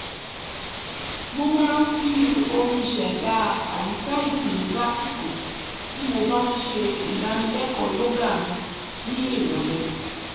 mo máa ń fi orin ṣèdá àyìká ìtùnnú lásìkò tí mo bá ń ṣe ìdánilẹ́kọ̀ọ́ yógà mi ní ìrọ̀lẹ́